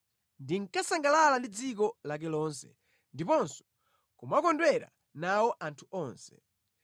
Ndinkasangalala ndi dziko lake lonse ndiponso kumakondwera nawo anthu onse.”